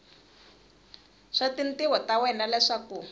swa tintiho ta wena leswaku